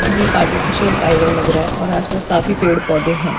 ये एक आर्टिफिशल लग रहा है और आसपास काफी पेड़ पौधे है।